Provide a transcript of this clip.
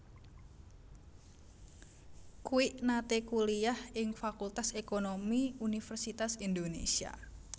Kwik nate kuliyah ing Fakultas Ekonomi Universitas Indonésia